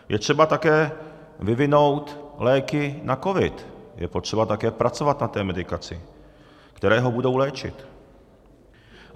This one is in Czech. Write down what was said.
Je třeba také vyvinout léky na covid, je potřeba také pracovat na té medikaci, které ho budou léčit.